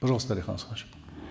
пожалуйста алихан асханович